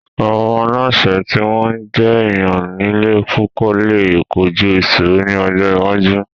Àwọn aláṣẹ tí wọ́n jẹ́ èèyàn líle púpọ̀ lè kojú ìṣòro ní ọjọ́ iwájú